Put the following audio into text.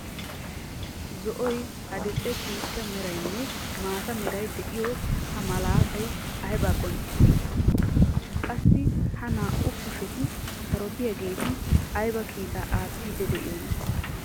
Zo''oy, adil"e ciishsha meraynne maata meray de'iyo ha malaatay aybba qonccissi? Qassi ha naa"u kusheti sarotettiyaageeti ayba kiitaa aattidi de'iyoona?